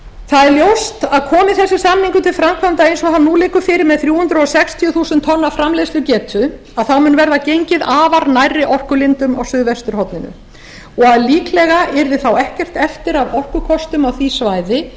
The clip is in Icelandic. það er ljóst að komi þessi samningur til framkvæmda eins og hann nú liggur fyrir með þrjú hundruð sextíu þúsund tonna framleiðslugetu að þá mun verða gengið afar nærri orkulindum á suðvesturhorninu og líklega yrði þá ekkert eftir af orkukostum á því svæði